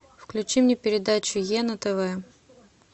включи мне передачу е на тв